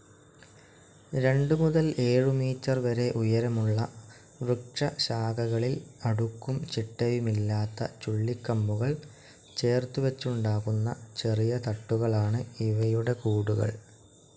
രണ്ട് മുതൽ ഏഴുമീറ്റർ വരെ ഉയരമുള്ള വൃക്ഷശാഖകളിൽ അടുക്കും ചിട്ടയുമില്ലാത്തചുള്ളിക്കമ്പുകൾ ചേർത്തുവച്ചുണ്ടാക്കുന്ന ചെറിയ തട്ടുകളാണ് ഇവയുടെ കൂടുകൾ.